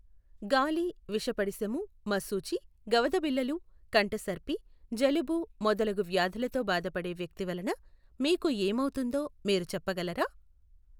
గాలి విషపడిశము, మశూచి, గవదబిళ్ళలు, కంఠసర్పి, జలుబు మొదలగు వ్యాధులతో బాధపడే వ్యక్తి వలన మీకు ఏమవుతుందో మీరు చెప్పగలరా?